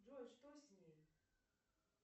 джой что с ней